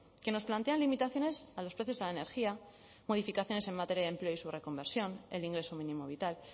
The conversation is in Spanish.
que nos plantean limitaciones a los precios a la energía modificaciones en materia de empleo y su reconversión el ingreso mínimo vital